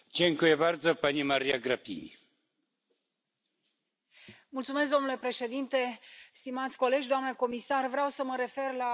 Domnule președinte, stimați colegi, doamna comisar, vreau să mă refer la recenta declarație a vicepreședintelui Comisiei, domnul comisar Oettinger.